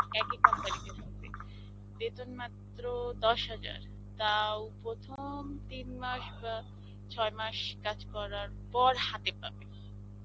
একই company তে থাকবে. বেতন মাত্র দশ হাজার. তাও প্রথম তিন মাস বা ছয় মাস কাজ করার পর হাতে পাবে.